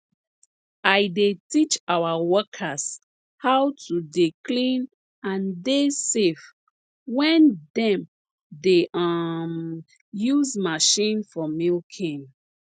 i dey teach our workers how to dey clean and dey safe when dem dey um use machine for milking